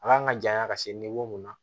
A kan ka janya ka se mun ma